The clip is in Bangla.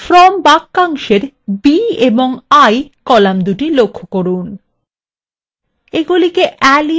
from বাক্যাংশের b এবং i fromদুটি লক্ষ্য from